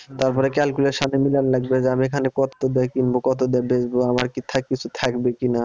তারপরে calculation এ মিলান লাগবে যে আমি এখানে কত দিয়ে কিনবো কত দিয়ে বেচবো আমার কি থাকবে কিছু থাকবে কিনা,